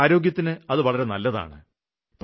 നമ്മുടെ ആരോഗ്യത്തിന് അത് നല്ലതാണ്